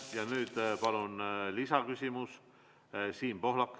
Ja nüüd palun lisaküsimus, Siim Pohlak.